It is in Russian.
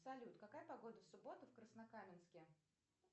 салют какая погода в субботу в краснокаменске